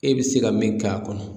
E be se ka min k'a kɔnɔ